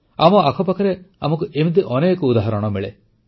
ଆମ ଆଖପାଖରେ ଆମକୁ ଏମିତି ଅନେକ ଉଦାହରଣ ମିଳେ